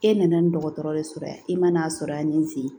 E nana ni dɔgɔtɔrɔ de sɔrɔ yan i man'a sɔrɔ yan ni n sigi